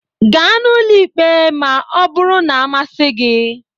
Gaa n'ụlọ ikpe ma ọ bụrụ na-amasị gị!